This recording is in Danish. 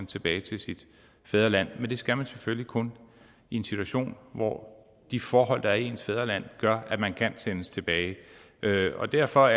tilbage til sit fædreland og det skal man selvfølgelig kun i en situation hvor de forhold der er i ens fædreland gør at man kan sendes tilbage derfor derfor